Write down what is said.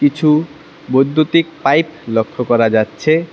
কিছু বৈদ্যুতিক পাইপ লক্ষ্য করা যাচ্ছে।